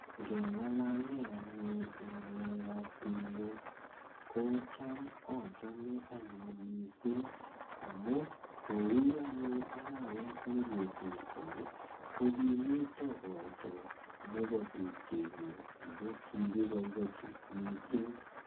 Ngengalale anyun ng'alek ap tumwek ko cham achome anyun missing amu kou anyun arawet nekosirtoi ko kimito koito nebo tupchenyun ako kikiboibochi missing.